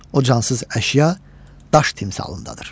O cansız əşya, daş timsalındadır.